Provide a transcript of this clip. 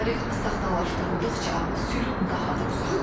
Tarix saxtalaşdırıldıqca, sülh daha da uzaqlaşır.